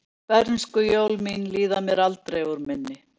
Bernskujól mín líða mér aldrei úr minni.